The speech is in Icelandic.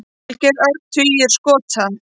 Valgeir Örn: Tugir skota?